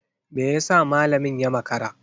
Me yasa malamin ya makara?